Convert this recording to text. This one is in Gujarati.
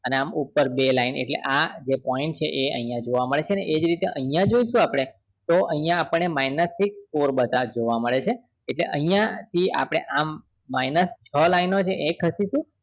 અને આમ ઉપર બે line એટલે આ જે point છે એ અહિયાં જોવા મળશે ને એ જ રીતે અહિયાં જોઈશું આપડે તો અહિયાં આપણને minus થી score બધા જોવા મળે છે એટલે અહિયાં થી આપડે આમ minus છ line ઓ છે એ ખસી સુ